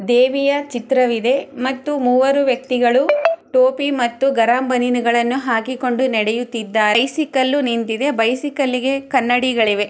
ದೇವಿಯ ಚಿತ್ರವಿದೆ ಮತ್ತು ಮೂವರು ವ್ಯಕ್ತಿಗಳು ಟೋಪಿ ಮತ್ತು ಗರಂ ಬನೀನುಗಳನ್ನು ಹಾಕಿ ಕೊಂಡು ನಡೆಯುತ್ತಿದ್ದಾರೆ ಬೈಸಿಕಲ್ ನಿಂತಿದೆ ಬೈಸಿಕಲ್ಗೆ ಕನ್ನಡಿಗಳಿವೆ.